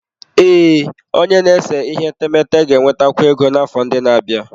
Ee, onye na-ese etemeete ga-enwetakwu ego n'afọ ndị na-abịa.